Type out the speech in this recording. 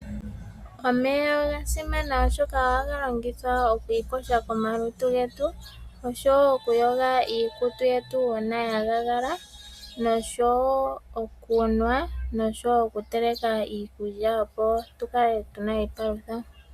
Omeya oga simana oshoka ohaga longithwa oku iyoga komalutu getu osho woo okuyoga iikutu yetu uuna ya luudha, nosho woo okunwa, nosho woo okuteleka iikulya opo tukale tu na iipalutha.